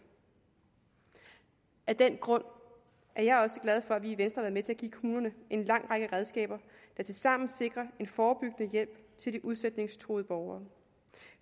af den grund er jeg også glad for at vi i venstre med til at give kommunerne en lang række redskaber der tilsammen sikrer en forebyggende hjælp til de udsætningstruede borgere